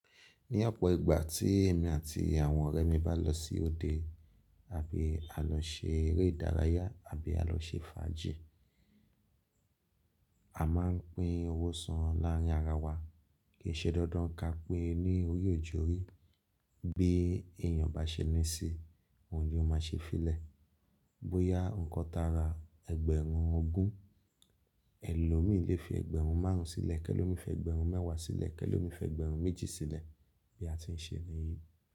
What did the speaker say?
Ní ọ̀pọ̀ ìgbà tí èmi àti àwọn ọ̀rẹ́ mi bá lọ sí òde àbí a lọ se eré ìdárayá àbí a lọ ṣe fàájì, a máa ń pín owó san láàrín ara wa. Kì í ṣe dandan ká pin ní orí òjò rí. Bí èèyàn bá ṣe nisi òun ni ó máa ṣe fí lẹ̀. Bóyá nǹkan tara ẹgbẹ̀rún ogún, ẹlòmíì lè fi ẹgbẹ̀rún márùn ún sílẹ̀, kelómii fi ẹgbẹ̀rún mẹ́wàá sílẹ̀, kelómii fi ẹgbẹ̀rún méjì sílẹ̀. Bí a ti ń ṣe níyì.